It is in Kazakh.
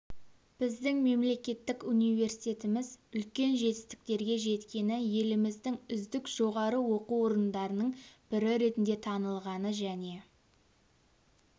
біздің мемлекеттік университетіміз үлкен жетістіктерге жеткені еліміздің үздік жоғары оқу орындарының бірі ретінде танылғаны және